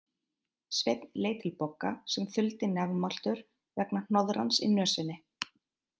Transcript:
Sveinn leit til Bogga sem þuldi nefmæltur vegna hnoðrans í nösinni